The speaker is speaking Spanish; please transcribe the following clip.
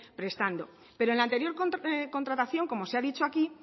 prestando pero en la anterior contratación como se ha dicho aquí